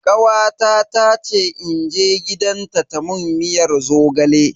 Kawata ta ce in je gidanta ta mun miyar zogale.